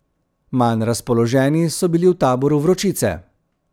Manj razpoloženi so bili v taboru vročice.